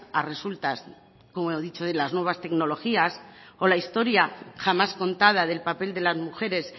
a resultas como he dicho de las nuevas tecnologías o la historia jamás contada del papel de las mujeres